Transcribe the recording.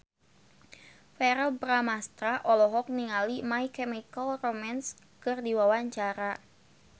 Verrell Bramastra olohok ningali My Chemical Romance keur diwawancara